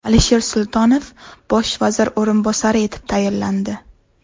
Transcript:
Alisher Sultonov bosh vazir o‘rinbosari etib tayinlandi.